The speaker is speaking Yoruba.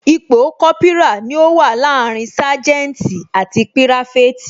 Ipò Kópírà ni ó wà láàrin saganti àti pirafeti